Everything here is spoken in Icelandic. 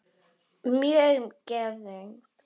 Mjög geðug.